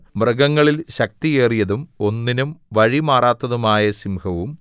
മൃഗങ്ങളിൽ ശക്തിയേറിയതും ഒന്നിനും വഴിമാറാത്തതുമായ സിംഹവും